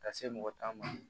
Ka se mɔgɔ tan ma